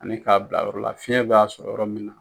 Ani k'a bila yɔrɔ la fiɲɛ b'a sɔrɔ yɔrɔ min na